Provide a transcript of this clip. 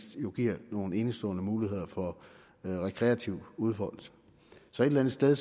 giver nogle enestående muligheder for rekreativ udfoldelse så et eller andet sted